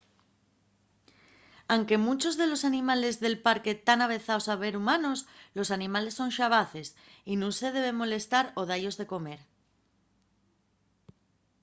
anque munchos de los animales del parque tán avezaos a ver humanos los animales son xabaces y nun se debe molestalos o da-yos de comer